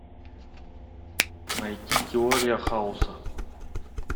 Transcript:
найти теория хаоса